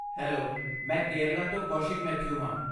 Hello, ਮੈਂ ਕੇਰਲਾ ਤੋਂ ਕੌਸ਼ਿਕ ਮੈਥਿਊ ਹਾਂ।